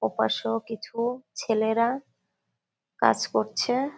ওপাশেও কিছু ছেলেরা কাজ করছে।